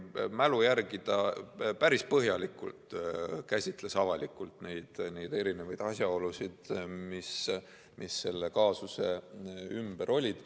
Mälu järgi öeldes ta päris põhjalikult käsitles avalikult neid erinevaid asjaolusid, mis selle kaasuse ümber olid.